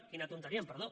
quina tonteria amb perdó